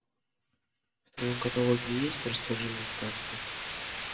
в твоем каталоге есть расскажи мне сказку